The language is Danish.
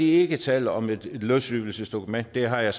ikke tale om et løsrivelsesdokument det har jeg